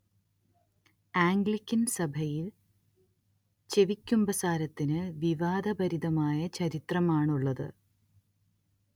Anglican സഭയിൽ ചെവിക്കുമ്പസാരത്തിന് വിവാദഭരിതമായ ചരിത്രമാണുള്ളത്